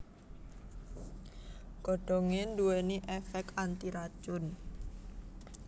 Godhongé nduwèni èfèk antiracun